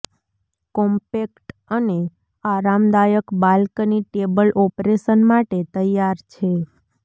compact અને આરામદાયક balcony table operation માટે તૈયાર છે